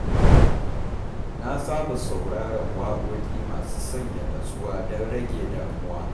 Na saba sauraron waƙoƙi masu sanya natsuwa don rage damuwa.